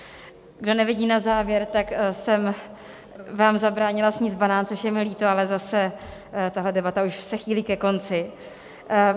Kdo nevidí na záběr, tak jsem vám zabránila sníst banán, což je mi líto, ale zase tahle debata už se chýlí ke konci.